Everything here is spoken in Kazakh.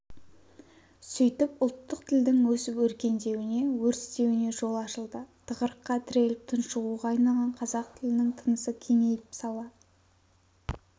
сөйтіп ұлттық тілдің өсіп-өркендеуіне өрістеуіне жол ашылды тығырыққа тіреліп тұншығуға айналған қазақ тілінің тынысы кеңейіп сала